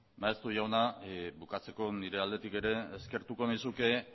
maeztu jauna bukatzeko nire aldetik ere eskertuko nizuke